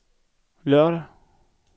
lørdag